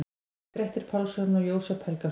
Grettir Pálsson og Jósep Helgason.